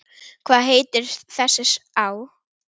Hvað heitir þessi á?